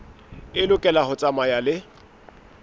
e lokela ho tsamaya le